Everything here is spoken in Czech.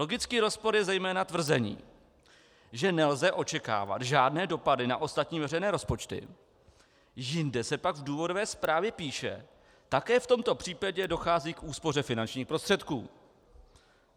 Logický rozpor je zejména tvrzení, že nelze očekávat žádné dopady na ostatní veřejné rozpočty, jinde se pak v důvodové zprávě píše: také v tomto případě dochází k úspoře finančních prostředků.